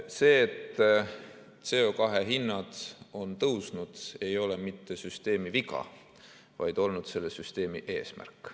See, et CO2 hinnad on tõusnud, ei ole mitte süsteemi viga, vaid on olnud selle süsteemi eesmärk.